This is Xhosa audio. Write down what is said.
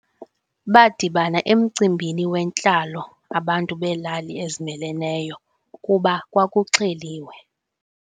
Badibana emcimbini wentlalo abantu beelali ezimeleneyo kuba kwakuxheliwe.